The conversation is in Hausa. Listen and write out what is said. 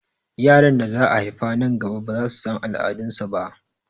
Yaran da za a haifa nan gaba baza su san al'adu su ba